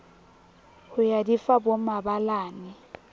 ho ya di fa bomabalane